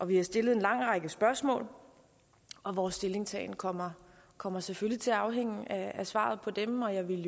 vi har stillet en lang række spørgsmål og vores stillingtagen kommer kommer selvfølgelig til at afhænge af svaret på dem og jeg ville